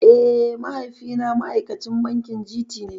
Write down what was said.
Eh mahaifi na ma'aikacin bankin G.T ne